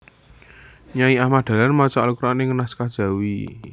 Nyai Ahmad Dahlan maca Al Quran ing naskah Jawi